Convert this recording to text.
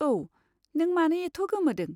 औ, नों मानो एथ' गोमोदों?